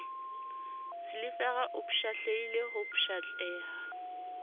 silivera o pshatlehile ho pshatleha